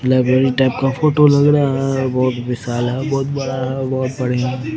library type का photo लग रहा है बोहोत विशाल है बोहोत बड़ा है बोहोत बढ़िया --